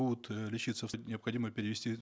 будут э лечиться необходимо перевести